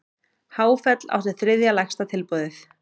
Háfell átti þriðja lægsta tilboðið